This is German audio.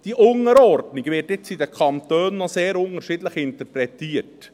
Diese Unterordnung wird in den Kantonen sehr unterschiedlich interpretiert.